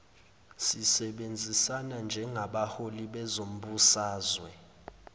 sisebenzisana njengabaholi bezombusazwe